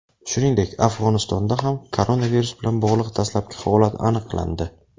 Shuningdek, Afg‘onistonda ham koronavirus bilan bog‘liq dastlabki holat aniqlandi.